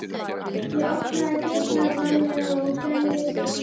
Ég opnaði dyrnar varlega og gægðist inn fyrir.